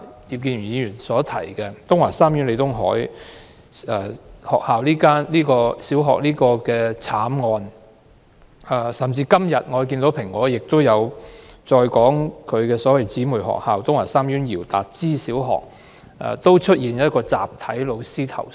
葉建源議員剛才提到東華三院李東海小學的慘案，今天《蘋果日報》報道，其姊妹學校東華三院姚達之紀念小學亦有教師集體投訴。